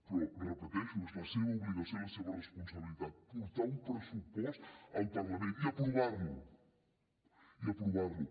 però ho repeteixo és la seva obligació i la seva responsabilitat portar un pressupost al parlament i aprovar lo i aprovar lo